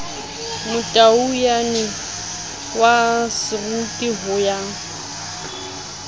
motaungyane wa seroki ho ya